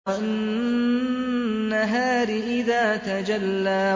وَالنَّهَارِ إِذَا تَجَلَّىٰ